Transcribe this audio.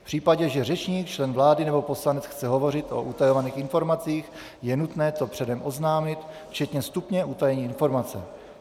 V případě, že řečník, člen vlády nebo poslanec, chce hovořit o utajovaných informacích je nutné to předem oznámit včetně stupně utajení informace.